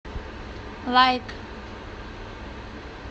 лайк